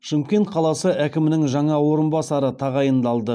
шымкент қаласы әкімінің жаңа орынбасары тағайындалды